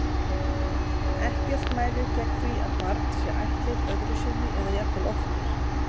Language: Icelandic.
Ekkert mælir gegn því að barn sé ættleitt öðru sinni eða jafnvel oftar.